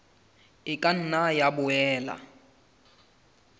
e ka nna ya boela